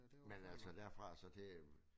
Men altså derfra og så til øh